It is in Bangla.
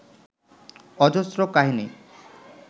অজস্র কাহিনী